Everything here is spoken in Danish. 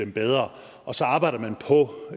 det bedre og så arbejder man